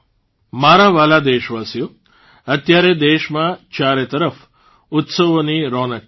મારા વ્હાલા દેશવાસીઓ અત્યારે દેશમાં ચારેતરફ ઉત્સવોની રોનક છે